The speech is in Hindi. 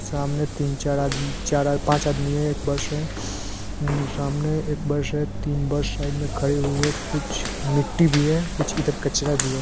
सामने तीन चार आदमी चार आद पाँच आदमी है। एक बस है उम्म सामने एक बस है तीन बस साइड मे खड़ी हुई है कूछ मिट्टी भी है कूछ इधर कचरा भी है।